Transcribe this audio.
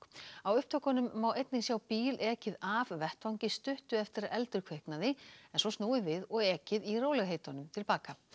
á upptökunum má einnig sjá bíl ekið af vettvangi stuttu eftir að eldur kviknaði en svo snúið við og ekið í rólegheitunum til baka